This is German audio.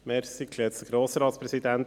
Ich habe nur eine Frage;